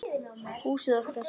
Húsið okkar.